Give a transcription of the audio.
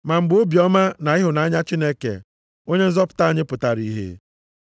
Ma mgbe obiọma na ịhụnanya Chineke Onye nzọpụta anyị pụtara ihe,